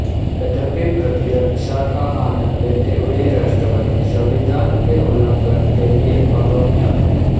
यद्यपि प्रतिरक्षा का आनंद लेते हुए राष्ट्रपति संविधान के उल्लंघन के लिए अगम्य है